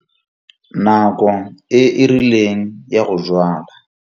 Nako e e rileng ya go jwala.